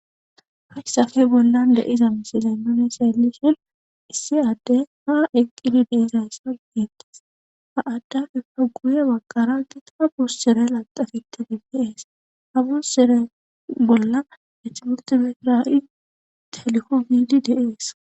Hayssape bollan deiza misilennone seeliheel issi adde ha eqqidi deizayssa geettis ha addape fa guuye magkarankita bussere laqafitte gibbiees habus sere bolla ethmultimetirai teliqo gidi dees.